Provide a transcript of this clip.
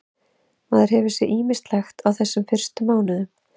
Maður hefur séð ýmislegt á þessum fyrstu mánuðum.